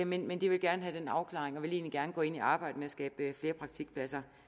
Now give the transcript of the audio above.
men men de vil gerne have den afklaring og vil egentlig gerne gå ind i arbejdet med at skabe flere praktikpladser